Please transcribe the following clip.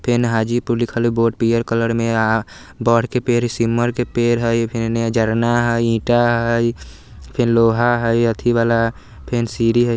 फेन हाजीपुर लिखल हई बोर्ड पीयर कलर में आ बरके पेर सिमर के पेर हई फेन ऐने जरना हई ईटा हई फेन लोहा हई अथि वाला फेन सीरी हई ।